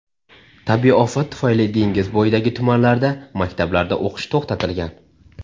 Tabiiy ofat tufayli dengiz bo‘yidagi tumanlarda maktablarda o‘qish to‘xtatilgan.